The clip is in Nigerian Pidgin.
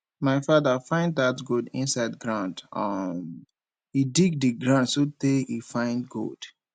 my father find dat gold inside ground um he dig the ground so tey he find gold